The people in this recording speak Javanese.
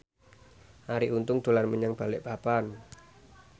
Arie Untung dolan menyang Balikpapan